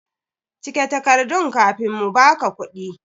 Cike takardan kafin mu ba ka kuɗi!